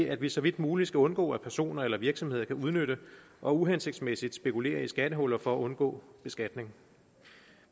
at vi så vidt muligt skal undgå at personer eller virksomheder kan udnytte og uhensigtsmæssigt spekulere i skattehuller for at undgå beskatning